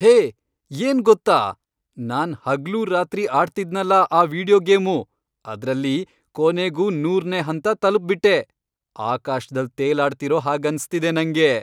ಹೇ, ಏನ್ ಗೊತ್ತಾ? ನಾನ್ ಹಗ್ಲೂ ರಾತ್ರಿ ಆಡ್ತಿದ್ನಲ ಆ ವೀಡಿಯೋ ಗೇಮು, ಅದ್ರಲ್ಲಿ ಕೊನೆಗೂ ನೂರ್ನೇ ಹಂತ ತಲ್ಪ್ಬಿಟ್ಟೆ! ಆಕಾಶ್ದಲ್ ತೇಲಾಡ್ತಿರೋ ಹಾಗನ್ಸ್ತಿದೆ ನಂಗೆ.